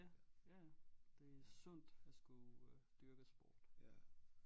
Ja ja ja det er sundt at skulle øh dyrke sport